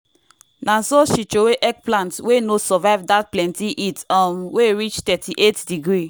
na so she throway eggplant wey no survive dat plenty heat um wey reach thirty-eight degree.